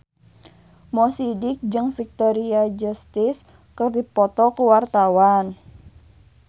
Mo Sidik jeung Victoria Justice keur dipoto ku wartawan